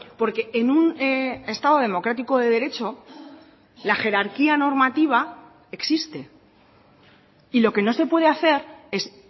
porque en un estado democrático de derecho la jerarquía normativa existe y lo que no se puede hacer es